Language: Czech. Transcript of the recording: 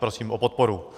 Prosím o podporu.